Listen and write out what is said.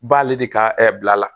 B'ale de ka bila la